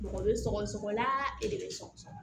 Mɔgɔ bɛ sɔgɔ sɔgɔla e de bɛ sɔgɔsɔgɔ